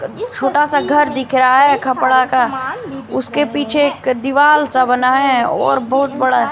छोटा सा घर दिख रहा है खपड़ा का उसके पीछे एक दीवाल सा बना है और बहुत बड़ा--